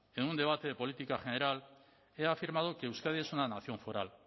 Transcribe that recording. en un debate de política general he afirmado que euskadi es una nación foral